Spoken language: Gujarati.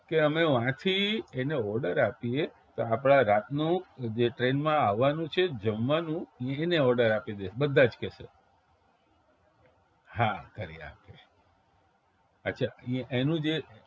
કે અમે વાથી એને order આપીએ તો આપણા રાતનું જે train માં આવવાનું છે જમવાનું એને order આપી દે બધા જ કેશ હા કરી આપ અચ્છા એનું જે